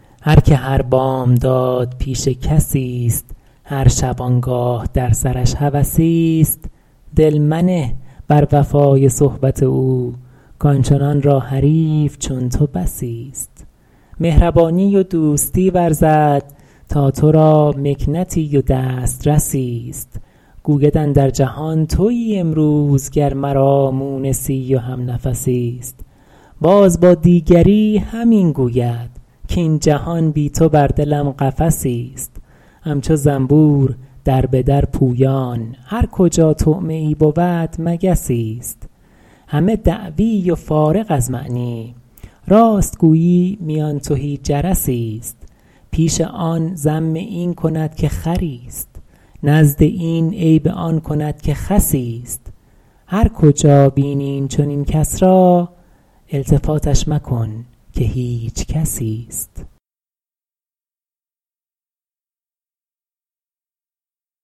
هر که هر بامداد پیش کسیست هر شبانگاه در سرش هوسیست دل منه بر وفای صحبت او کآنچنان را حریف چون تو بسیست مهربانی و دوستی ورزد تا تو را مکنتی و دسترسیست گوید اندر جهان تویی امروز گر مرا مونسی و همنفسیست باز با دیگری همین گوید کاین جهان بی تو بر دلم قفسیست همچو زنبور در به در پویان هر کجا طعمه ای بود مگسیست همه دعوی و فارغ از معنی راست گویی میان تهی جرسیست پیش آن ذم این کند که خریست نزد این عیب آن کند که خسیست هر کجا بینی این چنین کس را التفاتش مکن که هیچ کسیست